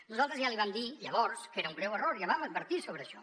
nosaltres ja li vam dir llavors que era un greu error ja vam advertir sobre això